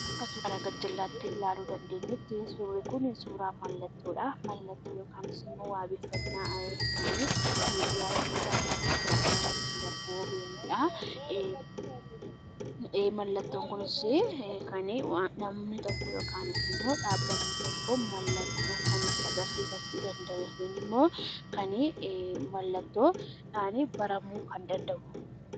Akka suura kana gar-jallaatti ilaaluu dandeenyutti, suurri Kun suuraa mallattoodha. Mallattoo yookaan immoo wabeeffannaa kan miidiyaa yookaan tamsaasa miidiyaan ittiin darbu, OBN dha. Mallattoon kunis kan namni tokko yokaan immoo dhaabbanni tokko mallattoo kan itti agarsiifachuu danda'u yookaan immoo kan mallattoodhaanii baramuu kan danda'udha.